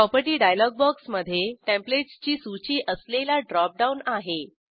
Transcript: property dialog बॉक्समधे टेंप्लेटसची सूची असलेला ड्रॉप डाऊन आहे